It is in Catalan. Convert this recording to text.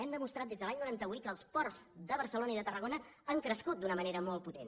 hem demostrat des de l’any noranta vuit que els ports de barcelona i de tarragona han crescut d’una manera molt potent